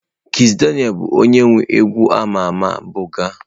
Kizz Daniel bụ onye nwe egwu a ma ama 'buga'.